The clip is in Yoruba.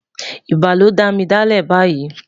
ibà ló dá mí delẹ bayii